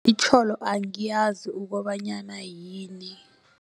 Itjholo angiyazi ukobanyana yini.